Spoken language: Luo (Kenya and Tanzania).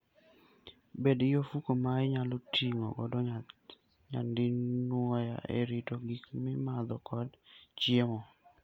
Bed gi ofuko ma inyalo ti godo nyadinwoya e rito gik mimadho kod chiemo.